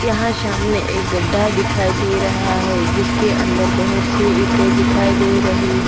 यहां सामने एक गड्ढा दिखाई दे रहा है जिसके अंदर बहुत सी ईंटें दिखाई दे रही है।